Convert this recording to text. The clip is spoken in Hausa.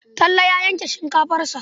Talle ta yanke shinkafarsa.